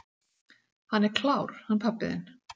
"""Hann er klár, hann pabbi þinn."""